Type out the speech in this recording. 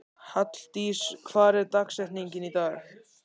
Halldís, hver er dagsetningin í dag?